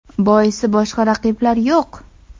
Boisi boshqa raqiblar yo‘q.